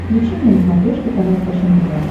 включи мне на смотрешке канал фэшен тв